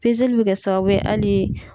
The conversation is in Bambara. Pezeli be kɛ sababu ali